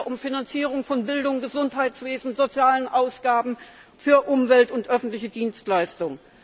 Geht es wieder um Finanzierung von Bildung, Gesundheitswesen, sozialen Ausgaben für Umwelt und öffentliche Dienstleistung?